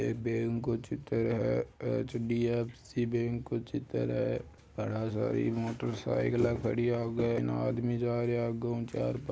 ये बैंक का चित्र है एच.डी.एफ.सी. बैंक का चित्र है घना सारी मोटर साइकल खड़ी है आगे न आदमी जा रया है आगे हु चार --